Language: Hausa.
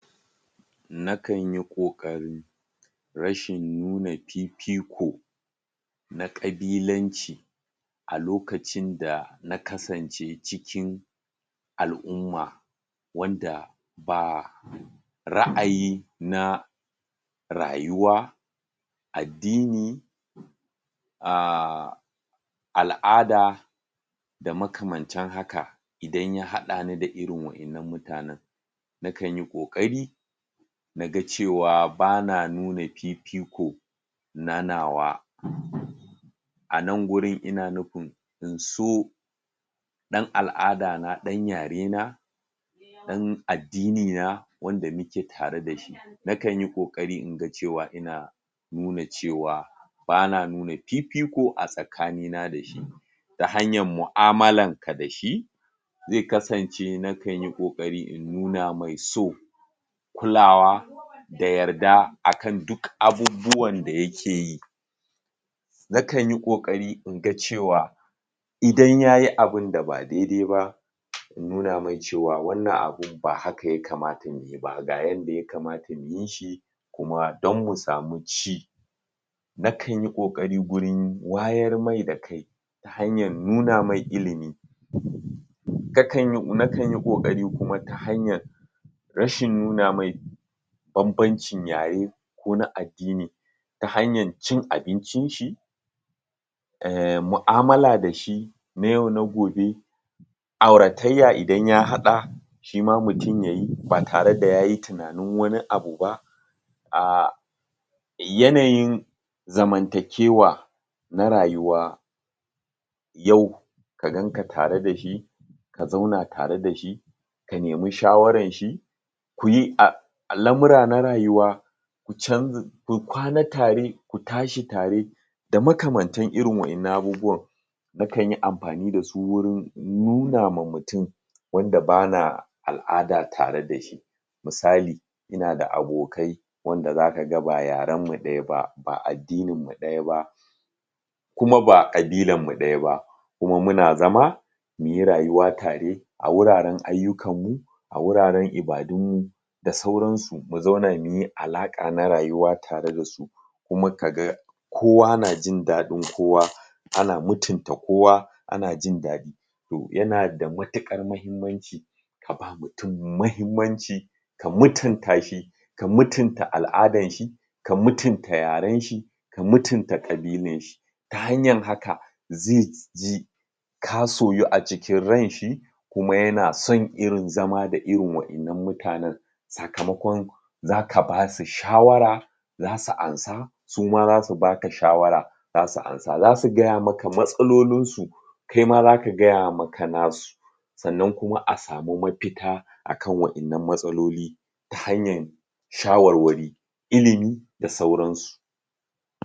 Na kan yi ƙoƙari rashin nuna fifiko na ƙabilanci a lokacin da na kasance cikin al'umma wanda ba ra'ayi na rayuwa addini, ahhh al'ada, da makamantan haka, idan ya haɗani da irin waɗannan mutanen na kanyi ƙoƙari naga cewa bana nuna fifiko na nawa anan gurin ina nufin in so ɗan al'afdana, ɗan yarena ɗan addini na wanda nake tare da shi nakan yi ƙoƙari inga cewa ina nuna cewa bana nuna fifiko a tsakanina da shi. Ta hanyan mu'amulanka da shi, zai kasance nakan yi ƙoƙari in nuna mai so, kulawa, da yarda akan diuk abubuwan da yakeyi. Nakan yi ƙoƙari inga cewa idan yayi abinda ba daidai ba, in nuna mai cewa wannan abun ba haka ya kamata ya yi ba, ga yanda ya kamata ya yi shi, kuma don mu sami ci Na kan yi ƙoƙari gurin wayen mai da kai, hanyar nuna mai ilimi, na kan yi ƙoƙari kuma ta hanyan rashin nuna mai banbancin yare, ko na addini, ta hanyan cin abincin shi, ehhm mu'amula da shi, na yau na gobe, auratayya idan ya haɗa, shima mutum ya yi ba tare da yayi wani abu ba, ahh yanayin zamanta kewa na rayuwa, yau ka ganka tare da shi ka zauna tare da shi, ka nemi shawaran shi, kuyi al'amura na rayuwa can ku kwana tare, ku tashi tare, da makamantan irin wa'yannan abubuwan na kan yi amfani da su wurin nuna ma mutum wanda bana al'ada tare da shi misali, ina da abokai wanda za ka ga ba yaren mu ɗaya ba, ba addinin mu ɗaya ba kuma ba ƙabilarmu ɗaya ba kuma muna zama muyi rayuwa tare a wuraren ayyukanmu, a wuraren ibadunmu, da sauransu, mu zauna muyi alaƙa na rayuwa tare da su kuma ka ga kowa na jin daɗin kowa ana mutunta kowa ana jin daɗi. To yana da matuƙar mahimmanci, ka ba mutum mahimmanci ka mutuntashi, ka mutunta al'adanshi, ka mutunta yaren shi, ka mutunta ƙabilanshi, ta hanyan haka zai ji ka soyu a cikin ran shi, kuma yana son irin zama da irin wa'innan mutanen sakamakon za ka basu shawara zasu ansa, su ma za su baka shawara za su ansa, za su gaya maka matsalolinsu, kaima za ka gaya maka nasu. Sannan kuma a samu mafita akan wannan matsaloli, ta hanyan shawarwari, ilimi da sauransu.